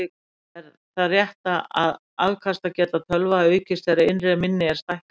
Er það rétt að afkastageta tölva aukist þegar innra minni er stækkað?